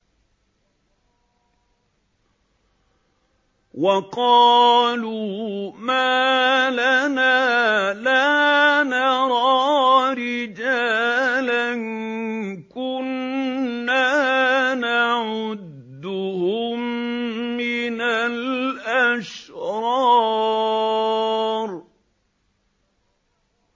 وَقَالُوا مَا لَنَا لَا نَرَىٰ رِجَالًا كُنَّا نَعُدُّهُم مِّنَ الْأَشْرَارِ